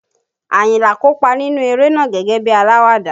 Ayinla kópa nínú eré náà gẹ́gẹ́ bí alawada